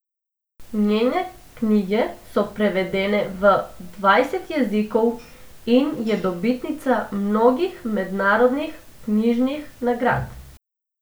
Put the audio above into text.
Njene knjige so prevedene v dvajset jezikov in je dobitnica mnogih mednarodnih knjižnih nagrad.